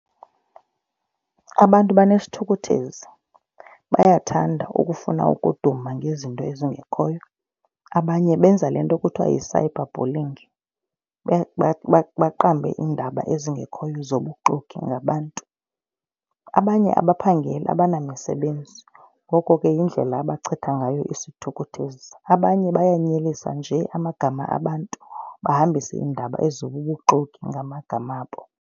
Abantu banesithukuthezi, bayathanda ukufuna ukuduma ngezinto ezingekhoyo. Abanye benza le nto kuthiwa yi-cyber bullying. Baqambe iindaba ezingekhoyo zobuxoki ngabantu. Abanye abaphangeli abanamisebenzi ngoko ke yindlela abachitha ngayo isithukuthezi. Abanye bayanyelisa nje amagama abantu, bahambise iindaba ezi zobubuxoki ngamagama abo.